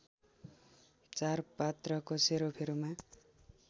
चार पात्रको सेरोफेरोमा